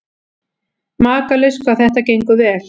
Makalaust hvað þetta gengur vel.